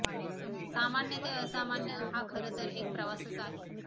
सामान्य ते असामान्य हा खरंतर एक प्रवासच आहे